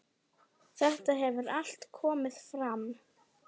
Þetta hefur allt komið fram.